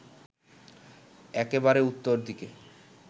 একেবারে উত্তর দিকে